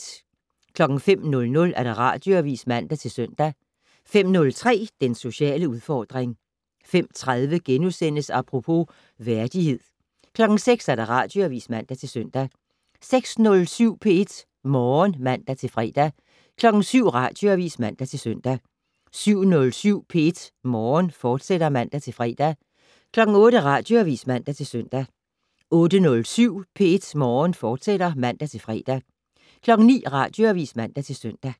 05:00: Radioavis (man-søn) 05:03: Den sociale udfordring 05:30: Apropos - værdighed * 06:00: Radioavis (man-søn) 06:07: P1 Morgen (man-fre) 07:00: Radioavis (man-søn) 07:07: P1 Morgen, fortsat (man-fre) 08:00: Radioavis (man-søn) 08:07: P1 Morgen, fortsat (man-fre) 09:00: Radioavis (man-søn)